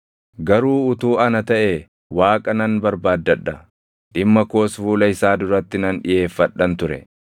“Garuu utuu ana taʼee Waaqa nan barbaaddadha; dhimma koos fuula isaa duratti nan dhiʼeeffadhan ture.